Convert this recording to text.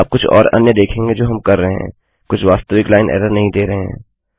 आप कुछ और अन्य देखेंगे जो हम कर रहे हैं कुछ वास्तविक लाइन एरर नहीं दे रहे हैं